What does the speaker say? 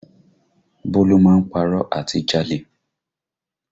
Bólú máa ń párọ̀ àti jalè